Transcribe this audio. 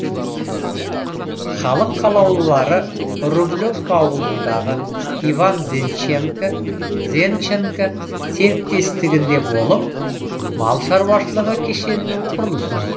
халық қалаулылары рублевка ауылындағы иван зенченко серіктестігінде болып мал шаруашылығы кешенінің құрылысын көрді